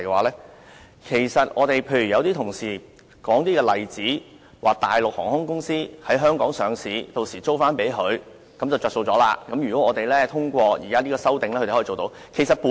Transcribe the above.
例如有同事指大陸航空公司可在香港上市，然後把飛機租給自己，從中取利，這是通過是項修正案後可做到的事情。